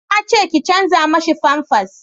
na ce ki canja mishi famfas